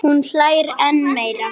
Sleikir aftur.